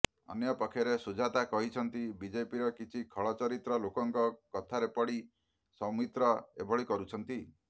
ଅନ୍ୟପକ୍ଷରେ ସୁଜାତା କହିଛନ୍ତି ବିଜେପିର କିଛି ଖଳ ଚରିତ୍ର ଲୋକଙ୍କ କଥାରେ ପଡ଼ି ସୌମିତ୍ର ଏଭଳି କରୁଛନ୍ତି